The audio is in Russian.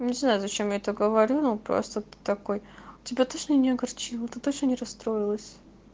не знаю зачем я это говорю ну просто ты такой тебя точно не огорчил ты точно не расстроилась